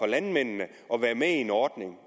landmændene at være med i en ordning